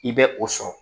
I bɛ o sɔrɔ